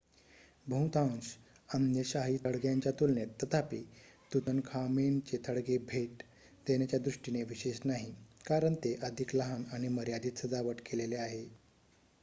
बहुतांश अन्य शाही थडग्यांच्या तुलनेत तथापि तुतनखामेनचे थडगे भेट देण्याच्या दृष्टिने विशेष नाही कारण ते अधिक लहान आणि मर्यादित सजावट केलेले आहे